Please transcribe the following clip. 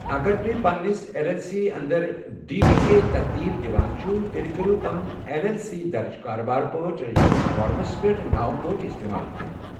اگر تُہۍ پنِنِس اٮ۪ل اٮ۪ل سی انٛدر ڈی بی اے ترتیٖب دِیوان چھِو، تیٚلہِ کٔرِو پنُن اٮ۪ل اٮ۪ل سی درٕج کاربار پٲٹھۍ رجسٹریشن فارمَس پیٹھ ناوٕ پٲٹھۍ اِستعمال کٔرِتھ۔